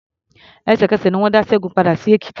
Ẹ̀sẹ̀kẹsẹ̀ ni wọ́n dá Ṣẹ́gun padà sí Èkìtì.